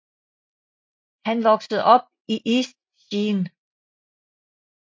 Han voksede op i East Sheen